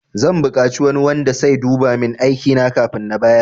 Zan bukaci wani wanda sai duba min aikina kafin na bayar